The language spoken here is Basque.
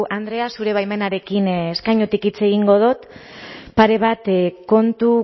andrea zure baimenarekin eskainutik hitz egingo dut pare bat kontu